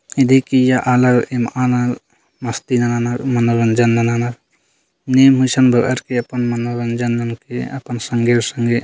ये देखिये यह अलग मान मस्ती मनाना मनोरंजन मनानाअपन संगी-संगी--